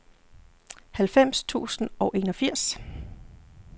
halvfems tusind og enogfirs